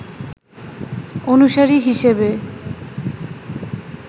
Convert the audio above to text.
অনুসারী হিসেবে